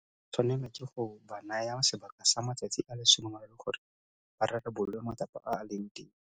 O tla tshwanelwa ke go ba naya sebaka sa matsatsi a le 30 gore ba rarabolole matsapa a a leng teng.